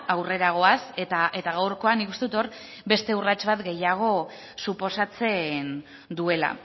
aurrera goaz eta gaurkoan nik uste dut hor beste urrats bat gehiago suposatzen duela